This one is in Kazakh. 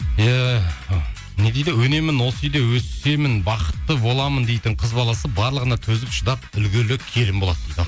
иә не дейді өнемін осы үйде өсемін бақытты боламын дейтін қыз баласы барлығына төзіп шыдап үлгілі келін болады дейді ал